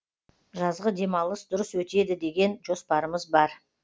жазғы демалыс дұрыс өтеді деген жоспарымыз бар